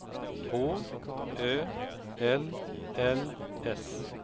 H Ö L L S